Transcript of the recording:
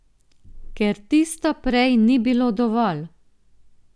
Ker tisto prej ni bilo dovolj.